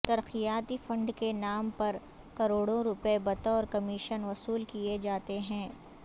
ترقیاتی فنڈ کے نام پر کروڑوں روپے بطور کمیشن وصول کیے جاتے ہیں